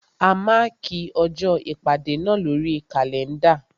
A mákì ọjọ́ ìpàdé náà lórí kàlẹ́ndà.